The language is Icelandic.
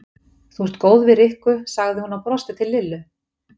Þú ert góð við Rikku sagði hún og brosti til Lillu.